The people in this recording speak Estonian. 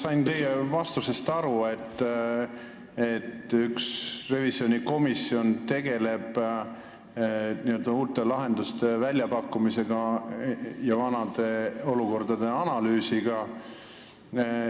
Sain teie vastusest aru, et üks revisjonikomisjon tegeleb uute lahenduste väljapakkumisega ja vana olukorra analüüsiga.